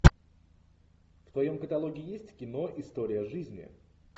в твоем каталоге есть кино история жизни